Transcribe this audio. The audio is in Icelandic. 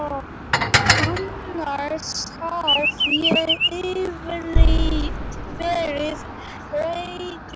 Annars hef ég yfirleitt verið regluleg.